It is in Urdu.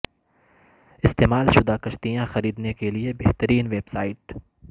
استعمال شدہ کشتیاں خریدنے کے لئے بہترین ویب سائٹ